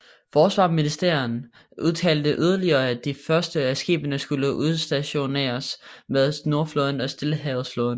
Forsvarsministeren udtalte yderligere at de første af skibene skulle udstationeres med Nordflåden og Stillehavsflåden